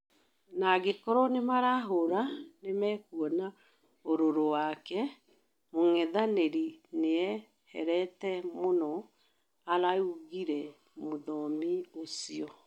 na angĩkorwo nĩmarahũra nĩmakũona ũruru wake... mũng'ethanĩro nĩũherete mũno," araũgĩre mũthomi ũcĩo